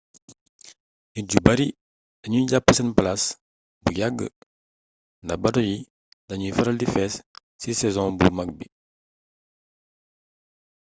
nit yu bari dañuy jàpp seen palaas bu yagg ndax bato yi dañuy faral di fees ci sezon bu mag bi